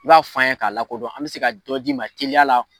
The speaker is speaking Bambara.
I b'a fɔ an ye k'a la kodɔn an be se ka jɔ d'i ma teliya la